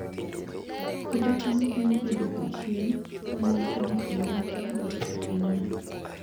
Puodho cham konyo e duoko chien kwan mar gik ma ng'ato dwaro e pinyno